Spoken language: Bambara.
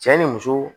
Cɛ ni muso